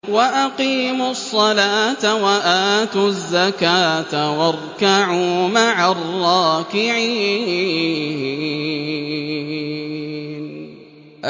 وَأَقِيمُوا الصَّلَاةَ وَآتُوا الزَّكَاةَ وَارْكَعُوا مَعَ الرَّاكِعِينَ